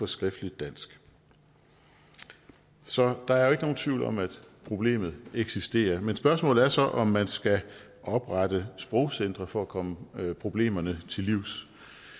skriftligt dansk så der er ikke nogen tvivl om at problemet eksisterer men spørgsmålet er så om man skal oprette sprogcentre for at komme problemerne til livs